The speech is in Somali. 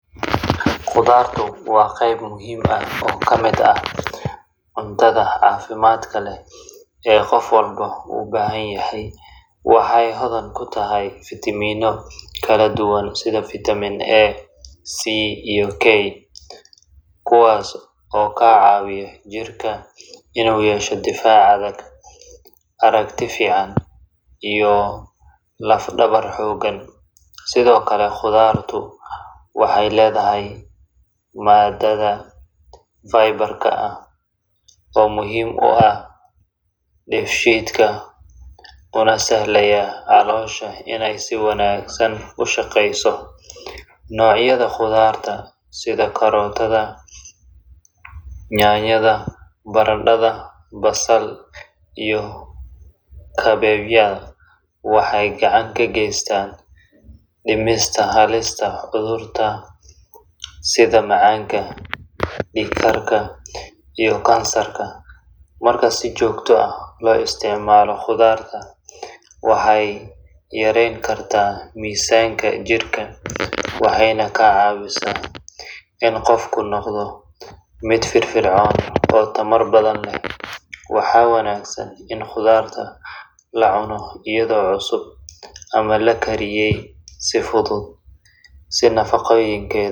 Qudhaartu waa qayb muhiim ah oo ka mid ah cuntooyinka caafimaadka leh ee jidhka bini’aadamka uu si weyn ugu baahan yahay si uu si habsami ah u shaqeeyo. Waxay hodan ku tahay nafaqooyin badan sida fiitamiinno kala duwan, sida fitamin A, C iyo K, macdano, iyo fiilooyin dabiici ah oo caawiya dheefshiidka, hoos u dhigta khatarta cudurrada wadnaha, macaanka, iyo noocyada qaar ee kansarka. Waxaa lagu kala cunaa siyaabo badan sida cunto karis fudud, salad, shiidan ama xitaa la miiray oo qayb ka noqda cuntooyinka kaladuwan. Khudaar kala duwan sida karootada, yaanyada, basal, bocor, baradhada, iyo brokkoligu waxay bixiyaan nafaqooyin gaar ah oo kala duwan, taas oo ka dhigaysa mid lagama maarmaan u ah cunto-maalmeedka qofka. Ku darista khudaarta cuntooyinka carruurta iyo dadka waaweyn waxay si weyn u kordhisaa caafimaadka guud, waxaana laga hortagi karaa cayilka iyo cudurrada la xiriira. Waxaa muhiim ah in khudaarta la isticmaalo ay noqoto mid nadiif ah, si wanaagsan loo dhaqay, loona diyaariyey hab caafimaad leh si looga faa’iidaysto dhammaan nafaqooyinka.